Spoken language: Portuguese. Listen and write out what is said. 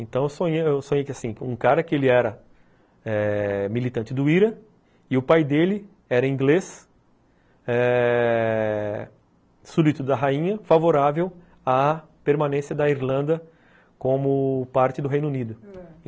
Então, eu sonhei que, assim, um cara que ele era militante do Ira e o pai dele era inglês eh... súbdito da rainha, favorável à permanência da Irlanda como parte do Reino Unido.